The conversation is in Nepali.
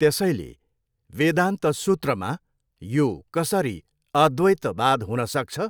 त्यसैले, वेदान्त सूत्रमा यो कसरी अद्वैतवाद हुन सक्छ?